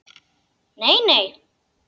Nei, nei.